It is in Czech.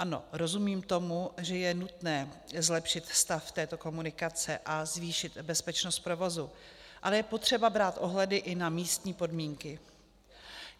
Ano, rozumím tomu, že je nutné zlepšit stav této komunikace a zvýšit bezpečnost provozu, ale je potřeba brát ohledy i na místní podmínky.